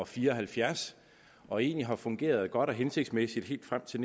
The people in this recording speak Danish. fire og halvfjerds og egentlig har fungeret godt og hensigtsmæssigt helt frem til